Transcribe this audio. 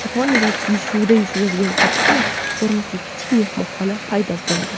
Yaponiyada suvda suzadigan kapsula ko‘rinishidagi kichik mehmonxona paydo bo‘ladi.